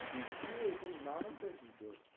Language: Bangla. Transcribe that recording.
তুই কে? তোর নামটা কি তোর?